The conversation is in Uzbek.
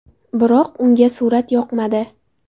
Biroq unga surat yoqmadi.